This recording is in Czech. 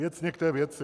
Věcně k té věci.